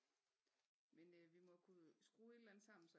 Men øh vi må kunne skrue et eller andet sammen